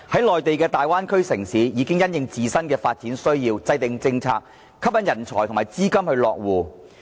內地的大灣區城市，其實已因應自身的發展需要制訂政策，以期吸引人才和資金落戶。